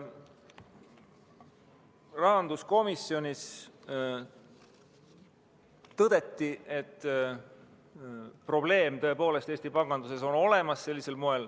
Rahanduskomisjonis tõdeti, et probleem on sellisel moel Eesti panganduses tõepoolest olemas.